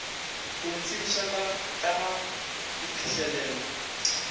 go ntsebiša ka ga diphihlelelo